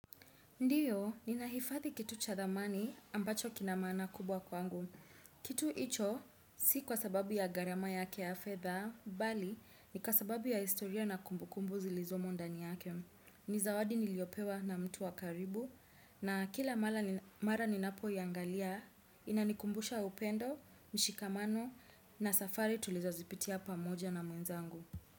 Ndiyo, ninahifathi kitu cha thamani ambacho kina maana kubwa kwangu. Kitu hicho, si kwa sababu ya gharama yake ya fedha, mbali, ni kwa sababu ya historia na kumbukumbu zilizomo ndani yake. Ni zawadi niliyopewa na mtu wakaribu, na kila mara ninapoiangalia, inanikumbusha upendo, mshikamano, na safari tulizozipitia pamoja na mwenzangu.